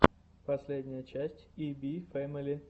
последняя часть и би фэмили